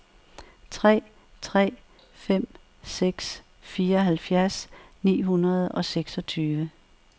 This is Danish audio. tre tre fem seks fireoghalvfjerds ni hundrede og seksogtyve